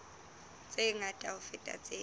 tse ngata ho feta tseo